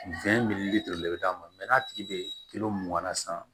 bɛ d'a ma n'a tigi bɛ mugan na sisan